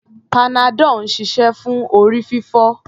Panadol ń ṣiṣẹ́ fún orí-fífọ́.